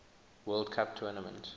world cup tournament